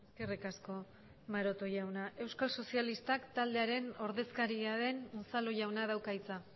eskerrik asko maroto jauna euskal sozialistak taldearen ordezkaria den unzalu jaunak dauka hitza